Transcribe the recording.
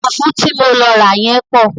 Fùfú ti mo lọ rà yẹ́n pọ̀.